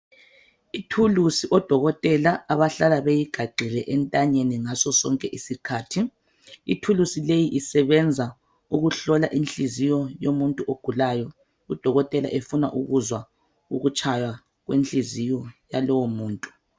Ithulusi odokotela abahlala beyigaxile entanyeni ngaso sonke isikhathi Ithulusi leyi isebenza ukuhlola inhliziyo yomuntu ogulayo udokotela efuna ukuzwa ukutshaya kwenhliziyo yalowo muntu .